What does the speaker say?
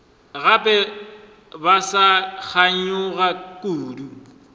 gape ba sa kganyogana kudu